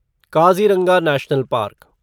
Kaziranga national park